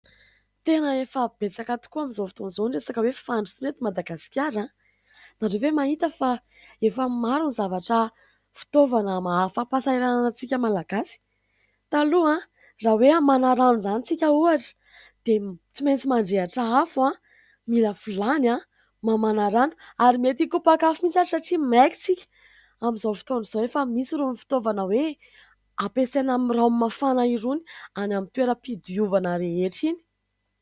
Tena efa betsaka tokoa amin'izao fotoan'izao ny resaka hoe fandrosoana eto madagasikara. Ianareo ve mahita fa efa maro ny zavatra, fitaovana mahafa-pahasahiranana antsika malagasy. Taloha raha hoe hamana rano izany isika ohatra dia tsy maintsy mandrehitra afo, mila vilany, mamana rano ary mety hikopak'afo mihitsy aza satria maika isika. Amin'izao fotoana izao efa misy irony fitaovana hoe ampiasaina amin'ny ranomafana irony any amin'ny toeram-pidiovana rehetra iny.